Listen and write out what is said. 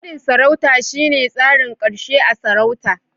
Nadin sarauta shine tsarin karshe a'sarauta.